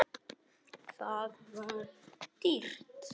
Það var dýrt.